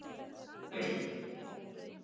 Hvílík hetja.